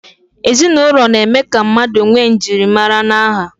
Ezinụlọ na-eme ka mmadụ nwee njirimara na aha